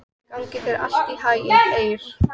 Gangi þér allt í haginn, Eir.